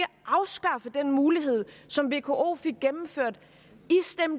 afskaffe den mulighed som vko fik gennemført